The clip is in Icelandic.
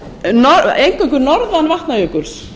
og er eingöngu norðan vatnajökuls